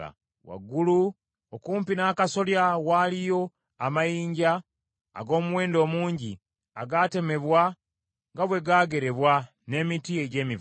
Waggulu okumpi n’akasolya waaliyo amayinja ag’omuwendo omungi, agatemebwa nga bwe gaagerebwa, n’emiti egy’emivule.